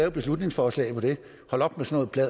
et beslutningsforslag om det hold op med sådan